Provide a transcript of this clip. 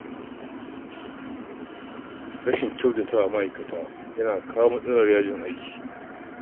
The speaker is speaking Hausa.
Rashin kyautata wa ma'aikata yana kawo matsalar yajin aiki a ƙasar